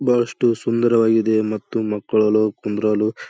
ಬಹಳಷ್ಟು ಸುಂದರವಾಗಿದೆ ಮತ್ತು ಮಕ್ಕಳು ಕುಂಡ್ರಲು--